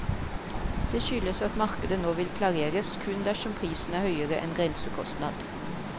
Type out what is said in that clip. Det skyldes at markedet nå vil klareres kun dersom prisen er høyere enn grensekostnad.